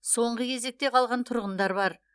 соңғы кезекте қалған тұрғындар бар